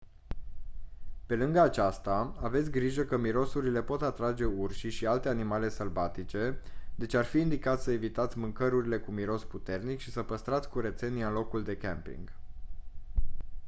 pe lângă aceasta aveți grijă că mirosurile pot atrage urșii și alte animale sălbatice deci ar fi indicat să evitați mâncărurile cu miros puternic și să păstrați curățenia în locul de camping